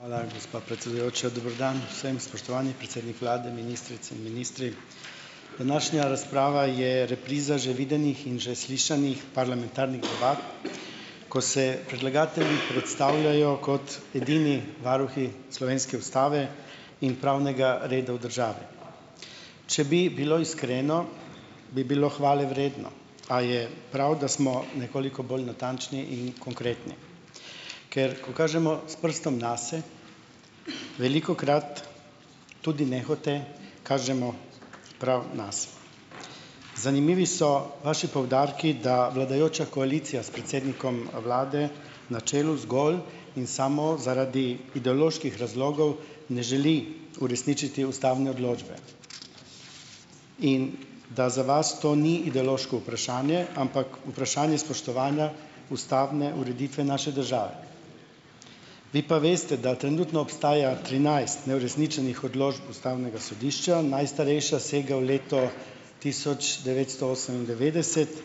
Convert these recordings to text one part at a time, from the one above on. Hvala, gospa predsedujoča. Dober dan vsem, spoštovani predsednik vlade, ministrice in ministri! Današnja razprava je repriza že videnih in že slišanih parlamentarnih ovadb, ko se predlagatelji predstavljajo kot edini varuhi slovenske ustave in pravnega reda v države. Če bi bilo iskreno, bi bilo hvalevredno, a je prav, da smo nekoliko bolj natančni in konkretni. Ker ko kažemo s prstom nase, velikokrat tudi nehote kažemo prav nase. Zanimivi so vaši poudarki, da vladajoča koalicija s predsednikom, vlade na čelu zgolj in samo zaradi ideoloških razlogov ne želi uresničiti ustavne odločbe in da za vas to ni ideološko vprašanje, ampak vprašanje spoštovanja ustavne ureditve naše države. Vi pa veste, da trenutno obstaja trinajst neuresničenih odločb ustavnega sodišča, najstarejša sega v leto tisoč devetsto osemindevetdeset,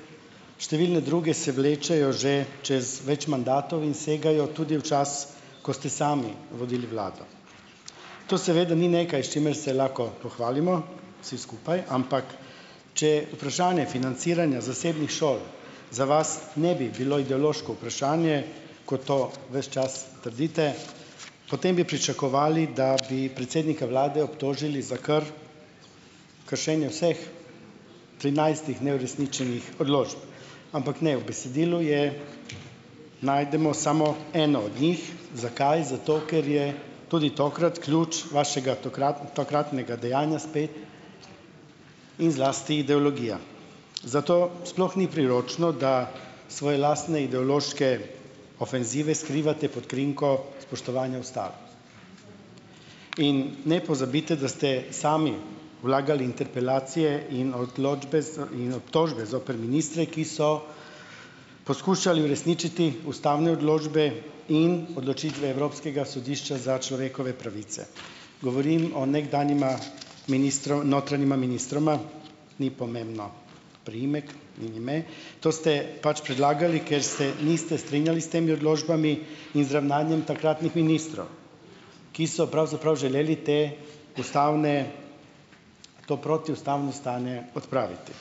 številne druge se vlečejo že čez več mandatov in segajo tudi v čas, ko ste sami vodili vlado. To seveda ni nekaj, s čimer se lahko pohvalimo vsi skupaj, ampak če vprašanje financiranja zasebnih šol za vas ne bi bilo ideološko vprašanje, ko to ves čas trdite, potem bi pričakovali, da bi predsednika vlade obtožili za kršenje vseh trinajstih neuresničenih odločb, ampak ne, v besedilu je najdemo samo eno od njih. Zakaj? Zato, ker je tudi tokrat ključ vašega takratnega dejanja spet in zlasti ideologija. Zato sploh ni priročno, da svoje lastne ideološke ofenzive skrivate pod krinko spoštovanja ustave. In ne pozabite, da ste sami vlagali interpelacije in odločbe in obtožbe zoper ministre, ki so poskušali uresničiti ustavne odločbe in odločitve evropskega sodišča za človekove pravice. Govorim o nekdanjima notranjima ministroma, ni pomembno priimek in ime. To ste pač predlagali, ker se niste strinjali s temi odločbami in z ravnanjem takratnih ministrov, ki so pravzaprav želeli te ustavne, to protiustavno stanje odpraviti.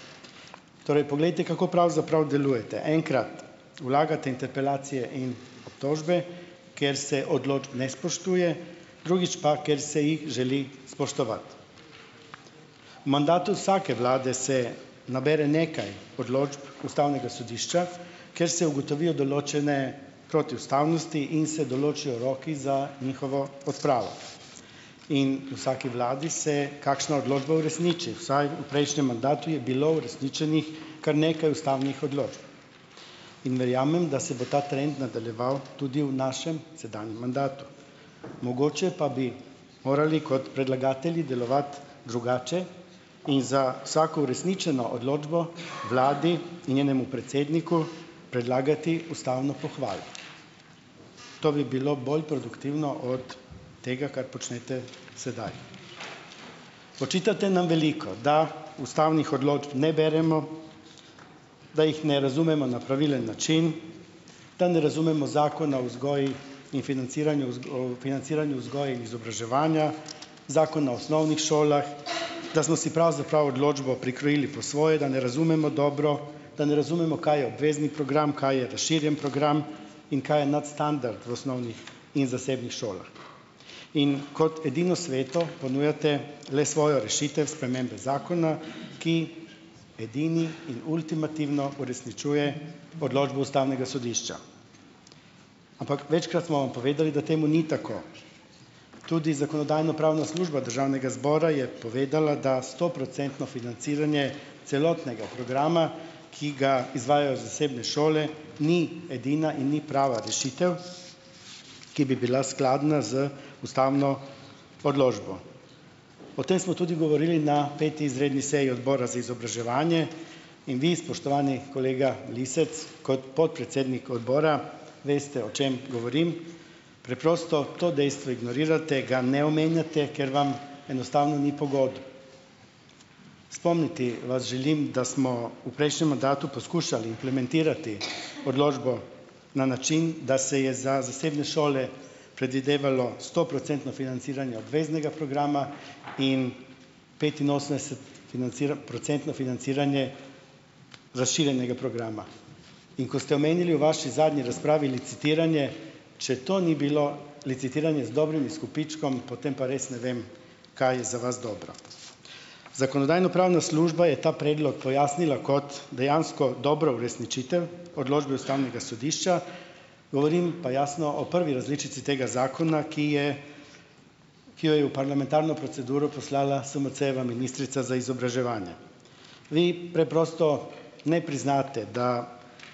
Torej poglejte, kako pravzaprav delujete. Enkrat vlagate interpelacije in obtožbe, ker se odločb ne spoštuje, drugič pa, ker se jih želi spoštovati. Mandatu vsake vlade se nabere nekaj odločb ustavnega sodišča, ker se ugotovijo določene protiustavnosti in se določijo roki za njihovo odpravo. In vsaki vladi se kakšna odločba uresniči, vsaj v prejšnjem mandatu je bilo uresničenih kar nekaj ustavnih odločb in verjamem, da se bo ta trend nadaljeval tudi v našem sedanjem mandatu. Mogoče pa bi morali kot predlagatelji delovati drugače in za vsako uresničeno odločbo vladi in njenemu predsedniku predlagati ustavno pohvalo. To bi bilo bolj produktivno od tega, kar počnete sedaj. Očitate nam veliko, da ustavnih odločb ne beremo, da jih ne razumemo na pravilen način, da ne razumemo zakona vzgoji in financiranju o financiranju vzgoje izobraževanja, zakona osnovnih šolah, da smo si pravzaprav odločbo prikrojili po svoje, da ne razumemo dobro, da ne razumemo, kaj je obvezni program, kaj je razširjen program in kaj je nadstandard v osnovnih in zasebnih šolah. In kot edino sveto ponujate le svojo rešitev spremembe zakona, ki edini in ultimativno uresničuje odločbo ustavnega sodišča, ampak večkrat smo vam povedali, da temu ni tako. Tudi zakonodajno-pravna služba državnega zbora je povedala, da stoprocentno financiranje celotnega programa, ki ga izvajajo zasebne šole, ni edina in ni prava rešitev, ki bi bila skladna z ustavno odločbo. O tem smo tudi govorili na peti izredni seji odbora za izobraževanje in vi, spoštovani kolega Lisec, kot podpredsednik odbora, veste, o čem govorim. Preprosto to dejstvo ignorirate, ga ne omenjate, ker vam enostavno ni pogodu. Spomniti vas želim, da smo v prejšnjem mandatu poskušali implementirati odločbo na način, da se je za zasebne šole predvidevalo stoprocentno financiranje obveznega programa in petinosemdeset procentno financiranje razširjenega programa. In ko ste omenili v vaši zadnji razpravi licitiranje, če to ni bilo licitiranje z dobrim izkupičkom, potem pa res ne vem, kaj je za vas dobro. Zakonodajno-pravna služba je ta predlog pojasnila kot dejansko dobro uresničitev odločbe ustavnega sodišča, govorim pa jasno o prvi različici tega zakona, ki je, ki jo je v parlamentarno proceduro poslala SMC-jeva ministrica za izobraževanje. Vi preprosto ne priznate, da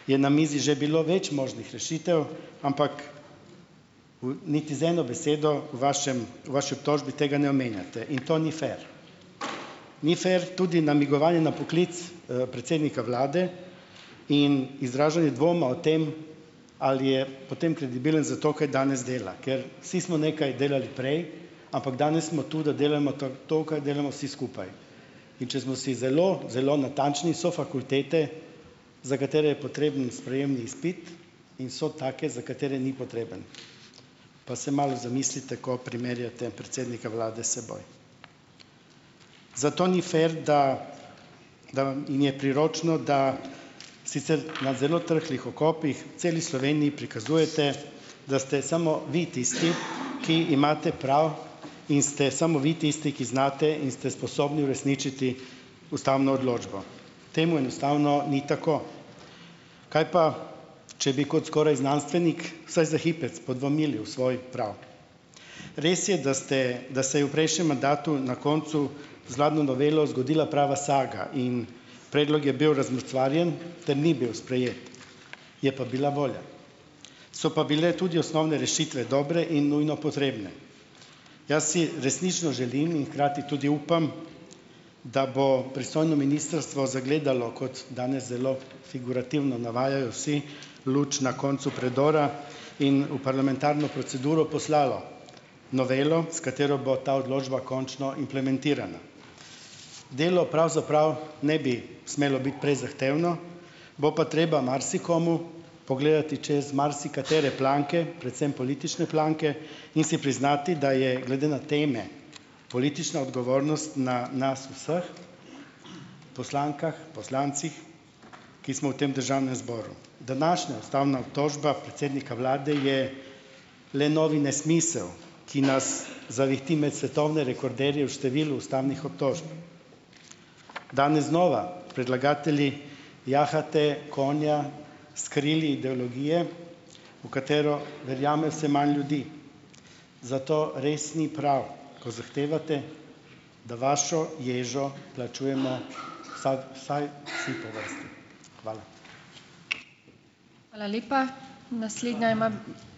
je na mizi že bilo več možnih rešitev, ampak niti z eno besedo vašem, v vaši obtožbi tega ne omenjate in to ni fer. Ni fer tudi namigovanje na poklic, predsednika vlade in izražanje dvoma o tem, ali je potem kredibilen zato, kaj danes dela, ker vsi smo nekaj delali prej, ampak danes smo tu, da delajmo to, kar delamo vsi skupaj. In če smo si zelo, zelo natančni, so fakultete, za katere je potreben sprejemni ispit in so take za katere ni potreben. Pa se malo zamislite, ko primerjate predsednika vlade seboj. Zato ni fer, da da vam in je priročno, da sicer na zelo trhlih okopih celi Sloveniji prikazujete, da ste samo vi tisti, ki imate prav, in ste samo vi tisti, ki znate in ste sposobni uresničiti ustavno odločbo. Temu enostavno ni tako. Kaj pa, če bi kot skoraj znanstvenik vsaj za hipec podvomili v svoj prav. Res je, da ste, da se je v prejšnje mandatu na koncu zladno novelo zgodila prava saga in predlog je bil razmrcvarjen ter ni bil sprejet, je pa bila volja. So pa bile tudi osnovne rešitve dobre in nujno potrebne. Jaz si resnično želim in hkrati tudi upam, da bo pristojno ministrstvo zagledalo, kot danes zelo figurativno navajajo vsi, luč na koncu predora in v parlamentarno proceduro poslalo novelo, s katero bo ta odločba končno implementirana. Delo pravzaprav ne bi smelo biti prezahtevno, bo pa treba marsikomu pogledati čez marsikatere planke, predvsem politične planke, in si priznati, da je glede na teme, politična odgovornost na nas vseh, poslankah, poslancih, ki smo v tem državnem zboru. Današnja ustavna obtožba predsednika vlade je le novi nesmisel, ki nas zavihti med svetovne rekorderje v številu ustavnih obtožb. Dene znova predlagatelji jahate konja s krili ideologije, v katero verjame vse manj ljudi, zato res ni prav, ko zahtevate, da vašo ježo plačujemo vsaj vsi po vrsti. Hvala.